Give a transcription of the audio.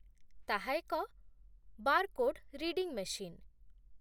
ତାହା ଏକ barcode reading machine